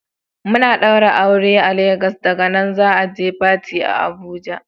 Muna da aure a Jos daga nan za'a je Fati a Abuja.